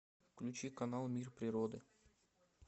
включи канал мир природы